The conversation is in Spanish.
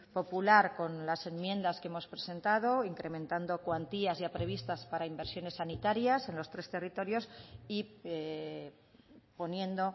popular con las enmiendas que hemos presentado incrementando cuantías ya previstas para inversiones sanitarias en los tres territorios y poniendo